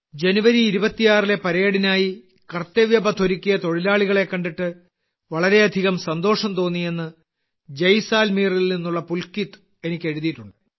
ജനുവരി 26ലെ പരേഡിനായി കർത്തവ്യ പഥ് ഒരുക്കിയ തൊഴിലാളികളെ കണ്ടിട്ട് വളരെയധികം സന്തോഷം തോന്നിയെന്ന് ജയ്സാൽമീറിൽ നിന്നുള്ള പുൽകിത് എനിക്കെഴുതിയിട്ടുണ്ട്